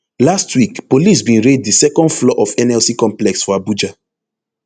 last week police bin raid di second floor of nlc complex for abuja